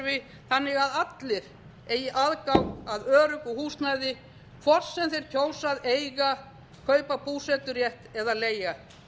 eigi aðgang að öruggu húsnæði hvort sem þeir kjósa að eiga kaupa búseturétt eða leigja